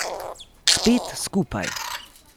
Spet skupaj.